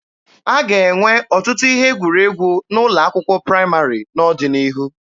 A ga-enwe ọtụtụ ihe egwuregwu n'ụlọ akwụkwọ praịmarị n'ọdịnihu